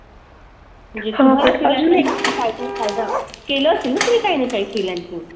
हां पण अजून एक फायद्यात फायदा केलं असेल ना? तुम्ही काही ना काही freelancing?